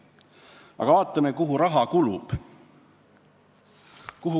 Aga vaatame, kuhu raha kulub.